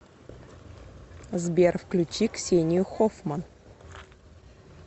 сбер включи ксению хоффман